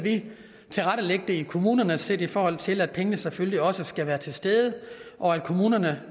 tilrettelægge det i kommunerne set i forhold til at pengene selvfølgelig også skal være til stede og at kommunerne